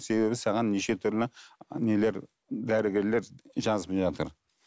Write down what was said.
себебі саған неше түрлі нелер дәрігерлер жазып жатыр